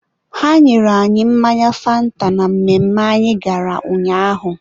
ha nyere anyị mmanya fanta na mmemme anyị gara ụnyaahụ.